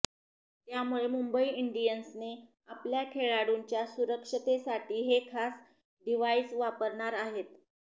त्यामुळेच मुंबई इंडियन्सने आपल्या खेळाडूंच्या सुरक्षेसाठी हे खास डिव्हाइस वापरणार आहे